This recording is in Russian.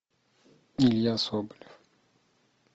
илья соболев